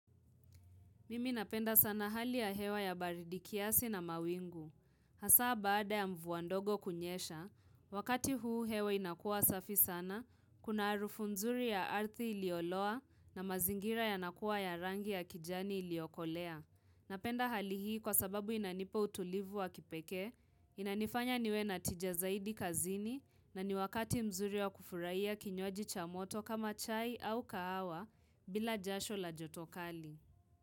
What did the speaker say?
Mimi napenda sana hali ya hewa ya baridi kiasi na mawingu. Hasaa baada ya mvua ndogo kunyesha, wakati huu hewa inakua safi sana, kuna harufu nzuri ya arthi ilioloa na mazingira yanakuwa ya rangi ya kijani iliokolea. Napenda hali hii kwa sababu inanipa utulivu wa kipekee, inanifanya niwe na tija zaidi kazini na ni wakati mzuri wa kufurahia kinywaji cha moto kama chai au kahawa bila jasho la joto kali.